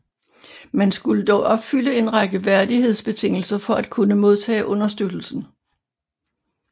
Man skulle dog opfylde en række værdighedsbetingelser for at kunne modtage understøttelsen